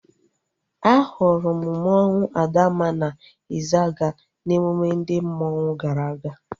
A hụrụ m mmanwu Adamma na Izaga n'emume ndị mmanwu gara aga